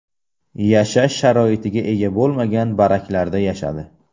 Yashash sharoitiga ega bo‘lmagan baraklarda yashadi.